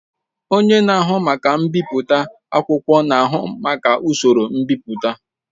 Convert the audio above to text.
Onye na-ahụ maka mbipụta akwụkwọ na-ahụ maka usoro mbipụta.